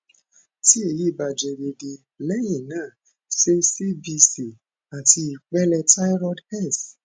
ti eyi ba jẹ deede leyin naa ṣe cbc ati ipele thyroid s